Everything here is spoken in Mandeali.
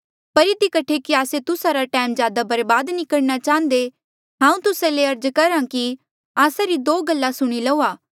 पर इधी कठे कि आस्से तुस्सा रा ज्यादा टैम बर्बाद नी करणा चाहंदे हांऊँ तुस्सा ले अर्ज करहा कि आस्सा री दो गल्ला सुणी लऊआ